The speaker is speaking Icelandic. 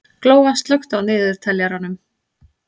Glóa, slökktu á niðurteljaranum.